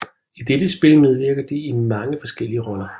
I dette spil medvirker de i mange forskellige roller